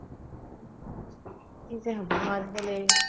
কি যে হ'ব আজিকালি